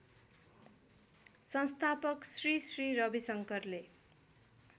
संस्थापक श्री श्री रविशंकरले